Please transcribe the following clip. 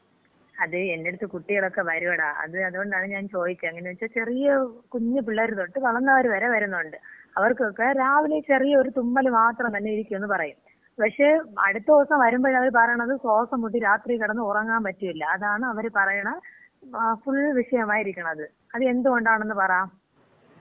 അത്, എന്‍റെടുത്ത് കുട്ടികളോക്കെ വരൂടാ. അത് അത്കൊണ്ടാണ് ഞാൻ ചോദിച്ചത്. എങ്ങനെന്ന് വച്ചാ ചെറിയ കുഞ്ഞ് പിള്ളേര് തൊട്ട് വളർന്നവര് വരെ വരുന്നുണ്ട്. അവർക്കൊക്കെ രാവിലെ ചെറിയ ഒരു തുമ്മൽ മാത്രം എന്ന് തന്നേരിക്കും പറയും. പക്ഷെ അടുത്ത ദിവസം വരുമ്പോ അവര് പറയണത് ശ്വാസം മുട്ട്, രാത്രി കിടന്ന് ഉറങ്ങാൻ പറ്റിയില്ല. അതാണ് അവർ പറയണ ഫുൾ വിഷയമായിരിക്കണത്. അത് എന്ത് കൊണ്ടാണന്ന് പറ.